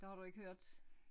Det har du ikke hørt